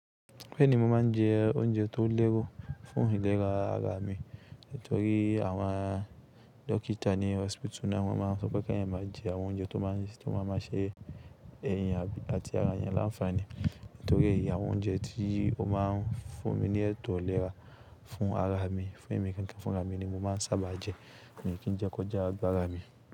Bẹ́ẹ̀ni, mo máà ń jẹ oúnjẹ tó lérò fún ìlera ara mi. Nítorí àwọn dókítà ní hospital náà wọ́n máa ń sọ pé kí èèyan má jẹ àwọn oúnjẹ tó máa ń ṣe èèyan àti ara ènìyàn láńfààní. Nítorí èyí, àwọn oúnjẹ tí ó máa ń fún mi ní ètò ìlera fún ara mi, fún èmí ní, fún ara mi ni mo máa ń sábà jẹ, mi kí jẹ kọjá ara mi.